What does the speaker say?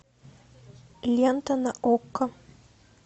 лента на окко